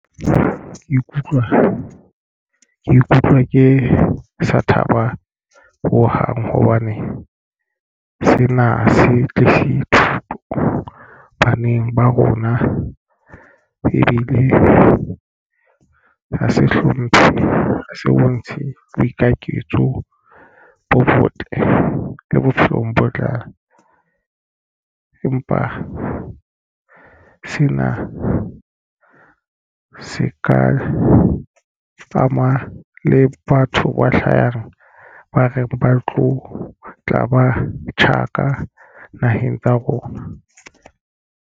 Ke ikutlwa ke sa thaba ho hang hobane sena se tle se thuto baneng ba rona ebile ho se hlomphe ha se bontshe boiketliso bo botle le bophelong bo tlang. Empa sena se ka ama le batho ba hlahang ba reng ba tlo tla ba tjhaka naheng tsa rona.